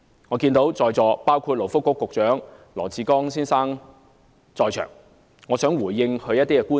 我看見勞工及福利局局長羅致光先生在席，我想回應他的一些觀點。